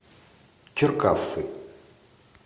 черкассы